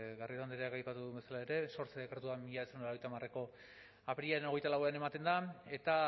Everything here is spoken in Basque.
garrido andreak aipatu duen bezala ere sortze dekretuan mila bederatziehun eta laurogeita hamareko apirilaren hogeita lauan ematen da eta